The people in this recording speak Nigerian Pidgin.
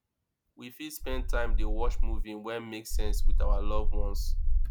we fit spend time dey watch movie wey make sense with our loved ones